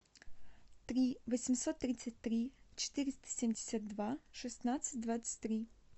три восемьсот тридцать три четыреста семьдесят два шестнадцать двадцать три